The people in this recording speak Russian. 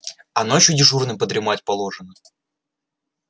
а ночью дежурным подремать положено